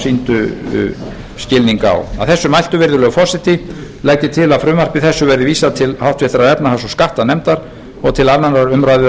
sýndu skilning að þessu mæltu virðulegi forseti legg ég til að frumvarpi þessu verði vísað til háttvirtrar efnahags og skattanefndar og til annarrar umræðu að